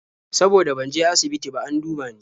Saboda ban je asibiti ba an duba ni.